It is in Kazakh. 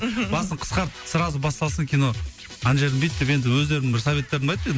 мхм басын қысқартып сразу басталсын кино ана жерін бүйт деп енді өздерімнің бір советтерімді айттым енді